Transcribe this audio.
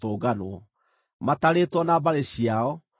matarĩtwo na mbarĩ ciao, maarĩ andũ 3,200.